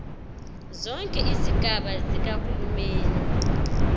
zonke izigaba zikahulumeni